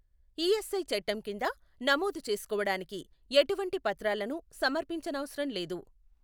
ESI చట్టం కింద నమోదు చేసుకోవడానికి ఎటువంటి పత్రాలను సమర్పించనవసరం లేదు.